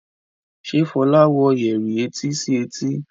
Ṣe Fola wò Yẹrí etí sí etí?